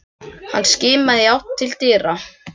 Hann skimaði í átt til dyra.